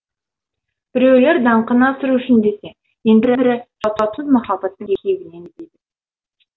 біреулер даңқын асыру үшін десе енді бірі жауапсыз махабаттың күйігінен дейді